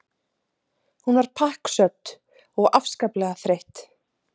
Hún var pakksödd og afskaplega þreytt.